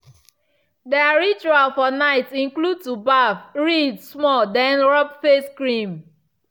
their ritual for night include to baff read small then rub face cream.